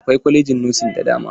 Akwai kwalajin nosin da dama.